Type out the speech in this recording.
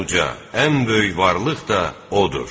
Ən uca, ən böyük varlıq da odur.